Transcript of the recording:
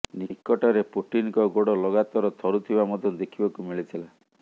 ନିକଟରେ ପୁଟିନ୍ଙ୍କ ଗୋଡ଼ ଲଗାତର ଥରୁଥିବା ମଧ୍ୟ ଦେଖିବାକୁ ମିଳିଥିଲା